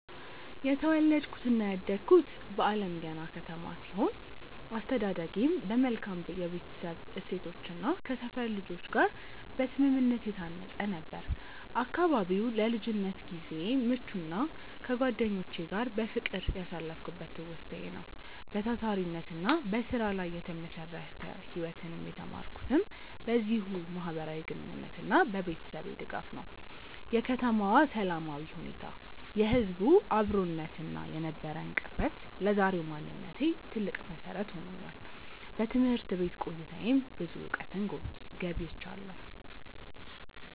የተወለድኩትና ያደግኩት በአለምገና ከተማ ሲሆን፣ አስተዳደጌም በመልካም የቤተሰብ እሴቶችና ከሰፈር ልጆች ጋር በስምምነት የታነጸ ነበር። አካባቢው ለልጅነት ጊዜዬ ምቹና ከጓደኞቼ ጋር በፍቅር ያሳለፍኩበት ትውስታዬ ነው። በታታሪነትና በስራ ላይ የተመሰረተ ህይወትን የተማርኩትም በዚሁ ማህበራዊ ግንኙነትና በቤተሰቤ ድጋፍ ነው። የከተማዋ ሰላማዊ ሁኔታ፣ የህዝቡ አብሮነትና የነበረን ቅርበት ለዛሬው ማንነቴ ትልቅ መሰረት ሆኖኛል። በትምህርት ቤት ቆይታዬም ብዙ እውቀትን ገብይቻለሁ።